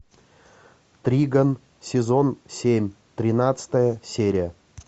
тригон сезон семь тринадцатая серия